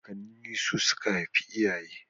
Kakanni su suka haifi iyaye